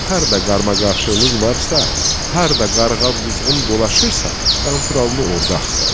Harda qarama-qarşılıq varsa, harda qarğa-quzğun dolaşırsa, Qanturalını orda axtarın.